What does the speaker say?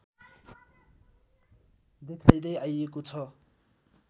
देखाइँदै आइएको छ